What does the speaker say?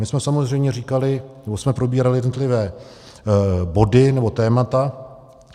My jsme samozřejmě říkali, nebo jsme probírali jednotlivé body nebo témata.